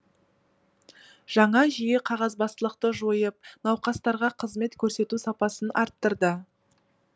жаңа жүйе қағазбастылықты жойып науқастарға қызмет көрсету сапасын арттырды